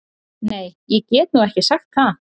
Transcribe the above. Nei ég get nú ekki sagt það.